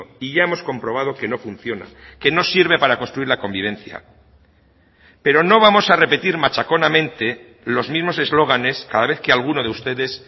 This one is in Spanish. y ya hemos comprobado que no funciona que no sirve para construir la convivencia pero no vamos a repetir machaconamente los mismos eslóganes cada vez que a alguno de ustedes